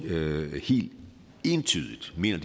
helt entydigt mener